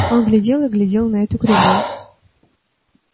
он глядел и глядел на эту кривую